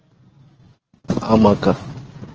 ஆமா அக்கா